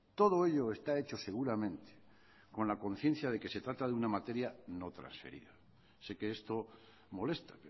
todo ello está echo seguramente con la conciencia de que se trata de una materia no transferida sé que esto molesta